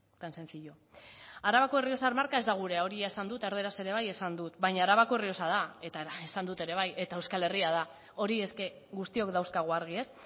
tan sencillo arabako errioxar marka ez da gurea hori esan dut erdaraz ere bai esan dut baina arabako errioxa da eta esan dut ere bai eta euskal herria da hori es que guztiok dauzkagu argi ez